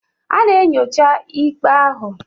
Ha na-enyocha ikpe ahụ.